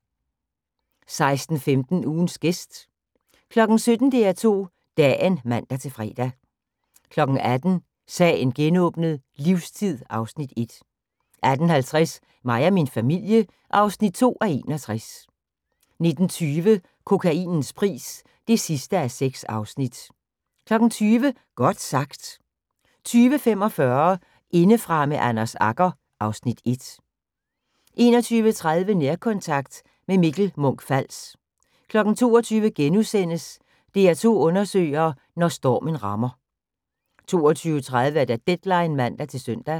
16:15: Ugens gæst 17:00: DR2 Dagen (man-fre) 18:00: Sagen genåbnet: Livstid (Afs. 1) 18:50: Mig og min familie (2:61) 19:20: Kokainens pris (6:6) 20:00: Godt sagt 20:45: Indefra med Anders Agger (Afs. 1) 21:30: Nærkontakt – med Mikkel Munch-Fals 22:00: DR2 undersøger: Når stormen rammer * 22:30: Deadline (man-søn)